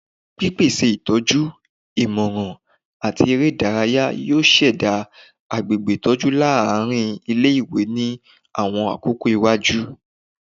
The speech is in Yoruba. Pipese itọju, imọran, ati ere idaraya yoo ṣẹda agbegbe itọju laarin ile-iwe ni awọn akoko iwaju